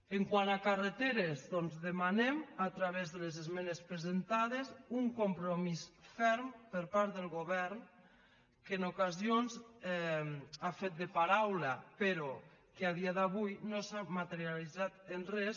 quant a carreteres doncs demanem a través de les esmenes presentades un compromís ferm per part del govern que en ocasions ha fet de paraula però que a dia d’avui no s’ha materialitzat en res